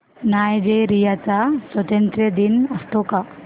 Nigeria चा स्वातंत्र्य दिन असतो का